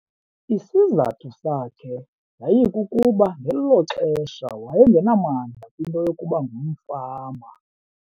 Isizathu sakhe yayikukuba ngelo xesha wayengenamandla kwinto yokuba ngumfama.